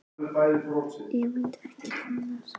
Ég mundi ekki fíla mig á staðnum.